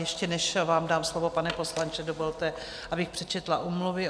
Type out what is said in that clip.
Ještě než vám dám slovo, pane poslanče, dovolte, abych přečetla omluvy.